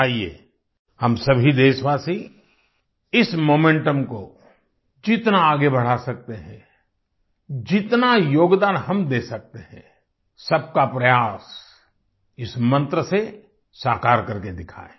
आईये हम सभी देशवासी इस मोमेंटम को जितना आगे बढ़ा सकते हैं जितना योगदान हम दे सकते हैं सबका प्रयास इस मंत्र से साकार करके दिखाएँ